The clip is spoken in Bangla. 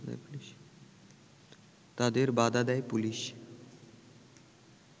তাদের বাধা দেয় পুলিশ